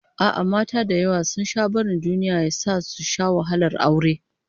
A'a, mata da yawa sun sha barin duniya ya sa su sha wahalar aure